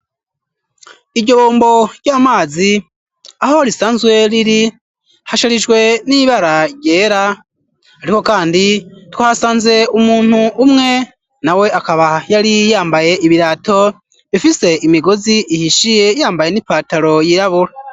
Iryo bombo ry'amazi aho risanzwe riri hasharijwe n'ibara ryera, ariko, kandi twasanze umuntu umwe na we akaba yari yambaye ibirato bifise imigozi ihishiye yambaye n'ipataro y'irabura.